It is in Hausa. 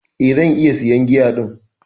Eh, zan iya siyan giya din.